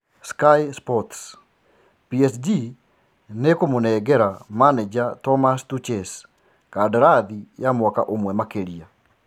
(Sky Sports) PSG niikumũnengera maneja Thomas Tuches kandarathi ya mwaka ũmwe makiria.